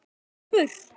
Þetta er Úlfur.